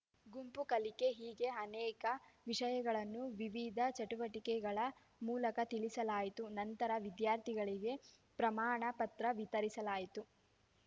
ಗುಂಪು ಕಲಿಕೆ ಹೀಗೆ ಅನೇಕ ವಿಷಯಗಳನ್ನು ವಿವಿಧ ಚಟುವಟಿಕೆಗಳ ಮೂಲಕ ತಿಳಿಸಲಾಯಿತು ನಂತರ ವಿದ್ಯಾರ್ಥಿಗಳಿಗೆ ಪ್ರಮಾಣ ಪತ್ರ ವಿತರಿಸಲಾಯಿತು